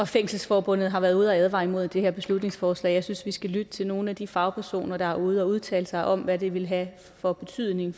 fængselsforbundet har været ude og advare imod det her beslutningsforslag og jeg synes vi skal lytte til nogle af de fagpersoner der er ude og udtale sig om hvad det vil have af betydning